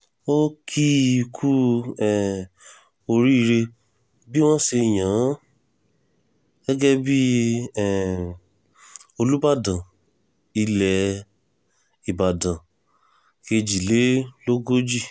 ó kì í kú um oríire bí wọ́n ṣe yàn án gẹ́gẹ́ bíi um olùbàdàn ilẹ̀ ìbàdàn kejìlélógójì